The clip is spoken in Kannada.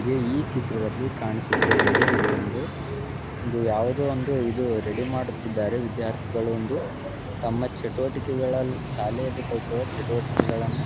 ಈ ಚಿತ್ರದ್ಲಲಿ ಕಾಣಿಸುತ್ತಿರುವುದು ಇದು ಒಂದು ಒಂದು ಯಾವುದೋ ಒಂದು ರೆಡಿ ಮಾಡುತ್ತಿದ್ದಾರೆ ವಿದ್ಯಾರ್ಥಿಗಳು ಒಂದು ತಮ್ಮ ಚಟುವಟಿಕೆಗಳನ್ನು ಶಾಲೆಗಳಲ್ಲಿ ಕೊಟ್ಟಿರುವ ಚಟುವಟಿಕೆಗಳನ್ನು.